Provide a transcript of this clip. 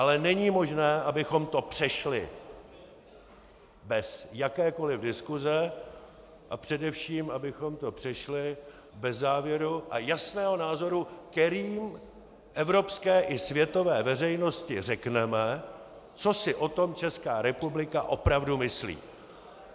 Ale není možné, abychom to přešli bez jakékoliv diskuse a především abychom to přešli bez závěru a jasného názoru, kterým evropské a světové veřejnosti řekneme, co si o tom Česká republika opravdu myslí.